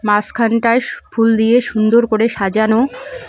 মাসখানটায় ফুল দিয়ে সুন্দর করে সাজানো।